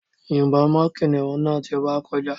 Yìnbọn mọ́ kìnìún náà tó bá ti kọjá